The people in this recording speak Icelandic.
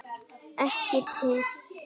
Ekki til.